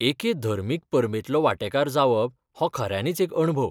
एके धर्मीक परबेंतलो वांटेकार जावप हो खऱ्यानीच एक अणभव.